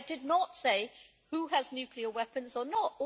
I did not say who has nuclear weapons or not